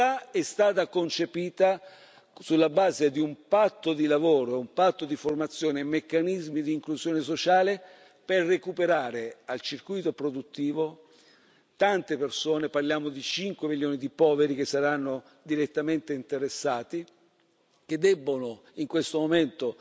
In realtà è stata concepita sulla base di un patto di lavoro, un patto di formazione e meccanismi di inclusione sociale per recuperare al circuito produttivo tante persone parliamo di cinque milioni di poveri che saranno direttamente interessati che in questo momento